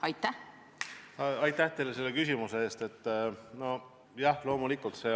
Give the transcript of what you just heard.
Aitäh teile selle küsimuse eest!